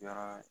Yɔrɔ